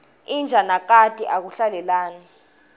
inja nakati akuhlalelani